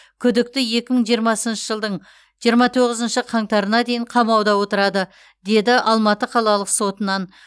күдікті екі мың жиырмасыншы жылдың жиырма тоғызыншы қаңтарына дейін қамауда отырады деді алматы қалалық сотынан